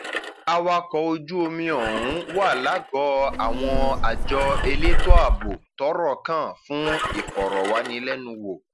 um awakọ ojú omi ọhún wà um lágọọ àwọn àjọ elétò ààbò tọrọ kan fún ìfọrọwánilẹnuwò